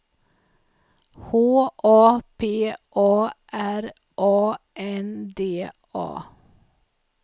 H A P A R A N D A